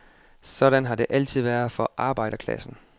Sådan har det altid været for arbejderklassen.